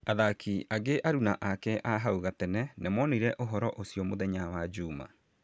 Athaki angĩ aruna ake a hau gatene nĩmonire ũhoro ũcio mũthenya wa juma